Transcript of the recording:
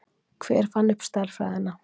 hver fann upp stærðfræðina